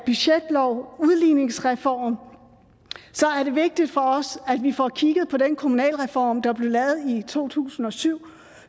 budgetloven og udligningsreformen er det vigtigt for os at vi får kigget på den kommunalreform der blev lavet i to tusind og syv